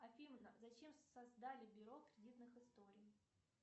афина зачем создали бюро кредитных историй